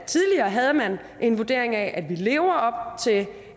tidligere havde man en vurdering af at vi lever op til